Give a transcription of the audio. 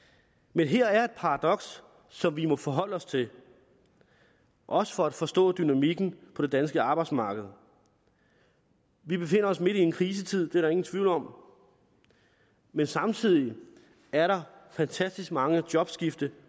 men her er et paradoks som vi må forholde os til også for at forstå dynamikken på det danske arbejdsmarked vi befinder os midt i en krisetid det er der ingen tvivl om men samtidig er der fantastisk mange jobskifte